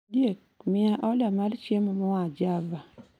Ondiek, miya order mar chiemo moa java